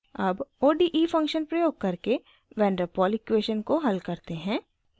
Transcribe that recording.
अब ode function प्रयोग करके van der pol इक्वेशन को हल करते हैं